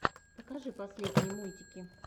покажи последние мультики